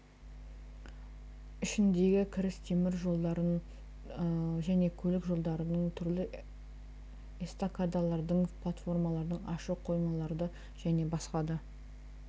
ішіндегі кіріс темір жолдардың және көлік жолдарының түрлі эстакадалардың платформалардың ашық қоймаларды және басқа да